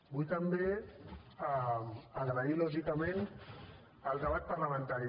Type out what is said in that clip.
vull també agrair lògicament el debat parlamentari